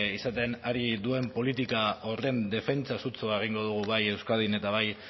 izaten ari den politika horren defentsa sutsua egingo dugu bai euskadin eta bai